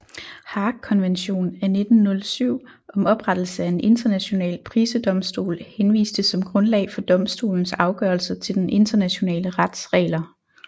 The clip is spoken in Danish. Haagkonvention af 1907 om oprettelse af en international prisedomstol henviste som grundlag for domstolens afgørelser til den internationale rets regler